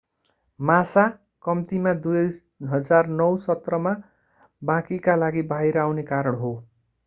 massa कम्तिमा 2009 सत्रमा बाँकीका लागि बाहिर आउने कारण हो